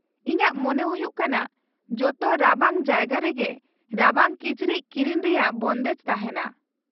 -ᱤᱧᱟᱹᱜ ᱢᱚᱱᱮ ᱦᱩᱭᱩᱜ ᱠᱟᱱᱟ ᱡᱚᱛᱚ ᱨᱟᱵᱟᱝ ᱡᱟᱭᱜᱟ ᱨᱮᱜᱮ ᱨᱟᱵᱟᱝ ᱠᱤᱪᱨᱤᱡ ᱠᱤᱨᱤᱧ ᱨᱮᱭᱟᱜ ᱵᱚᱱᱫᱮᱡ ᱛᱟᱦᱮᱱᱟ ᱾